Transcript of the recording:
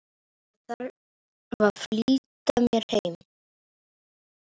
Þarf að flýta mér heim.